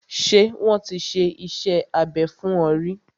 Ṣé wọ́n ti ṣe iṣẹ́ abẹ fún ọ ríí?